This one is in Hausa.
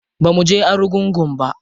Bamu je argungu ba.